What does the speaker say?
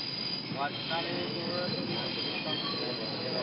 ਅਜਨਾਲੇ ਚੌ ਚੌਬੀ ਘੰਟੇ ਹੀ ਕੰਮ ਕਰੀ ਜਾਉ ਗਾ